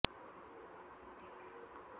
ય ભાભલડી નહિ કહું તું આમ રિહાઈ ન જા